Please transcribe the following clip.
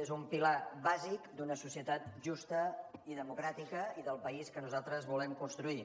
és un pilar bàsic d’una societat justa i democràtica i del país que nosaltres volem construir